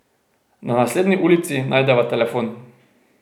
Na naslednji ulici najdeva telefon.